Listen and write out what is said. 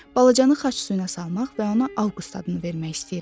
Balacanı xaç suyuna salmaq və ona Avqust adını vermək istəyirəm.